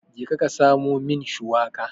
Jeka ka samo min shiwaka.